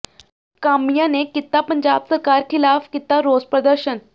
ਕਾਮਿਆਂ ਨੇ ਕੀਤਾ ਪੰਜਾਬ ਸਰਕਾਰ ਖ਼ਿਲਾਫ਼ ਕੀਤਾ ਰੋਸ ਪ੍ਰਦਰਸ਼ਨ